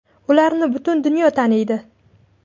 Ularni butun dunyo taniydi!